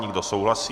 Kdo souhlasí?